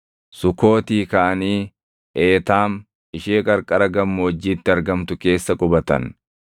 Sukootii kaʼanii Eetaam ishee qarqara gammoojjiitti argamtu keessa qubatan.